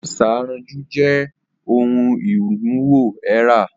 Isanraju jẹ ohun iwuwo ara.